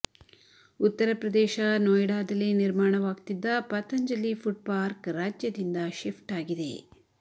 ಉತ್ತರ ಪ್ರದೇಶ ನೋಯ್ಡಾದಲ್ಲಿ ನಿರ್ಮಾಣವಾಗ್ತಿದ್ದ ಪತಂಜಲಿ ಫುಡ್ ಪಾರ್ಕ್ ರಾಜ್ಯದಿಂದ ಶಿಫ್ಟ್ ಆಗ್ತಿದೆ